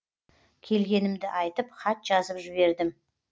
келгенімді айтып хат жазып жібердім